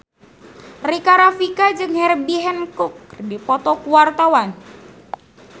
Rika Rafika jeung Herbie Hancock keur dipoto ku wartawan